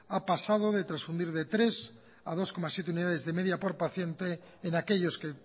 ha pasado de transfundir de tres a dos coma siete unidades de media por paciente en aquellos que